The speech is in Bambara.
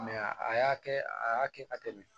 a y'a kɛ a y'a kɛ ka tɛmɛ